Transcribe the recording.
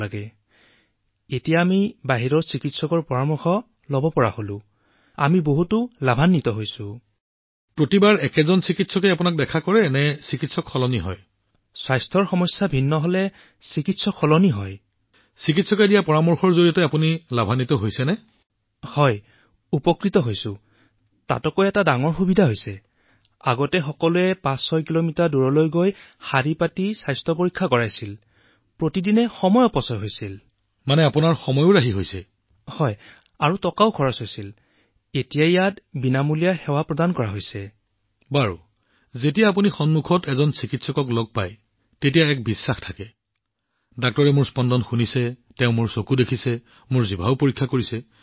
প্ৰধানমন্ত্ৰীঃ নমস্কাৰ ঠিক আছে মোক কোৱা হৈছে যে আপুনি এজন ডায়েবেটিক ৰোগী